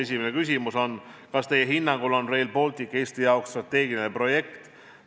Esimene küsimus on: kas teie hinnangul on Rail Baltic Eesti jaoks strateegiline projekt?